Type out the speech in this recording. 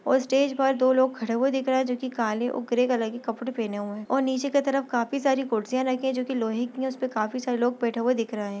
और स्टेज पर दो लोग खड़े हुए दिख रहे है जो की काले और ग्रे कलर के कपड़े पहने हुए है और नीचे की तरफ काफी सारी कुर्सिया रखी है जो की लोहे की है उसपे काफी सारे लोग बैठे हुए दिख रहे है।